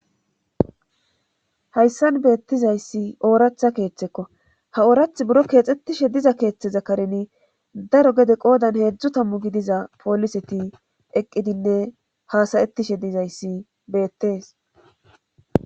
hayssan beettizayssi ooratha keeththekko ha oorath buro keexettishe diza keeththe zakareni daro gede qoodan heedzdzu tammu gidiza pooliseti eqqidinne haasayettishe dizayssi beettees